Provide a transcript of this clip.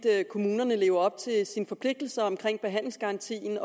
kommunerne lever op til sine forpligtelser omkring behandlingsgarantien